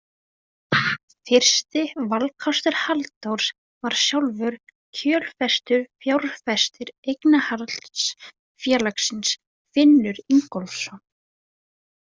Fyrsti valkostur Halldórs var sjálfur kjölfestufjárfestir eignarhaldsfélagsins, Finnur Ingólfsson.